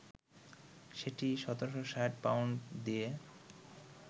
সেটি ১৭৬০ পাউন্ড দিয়ে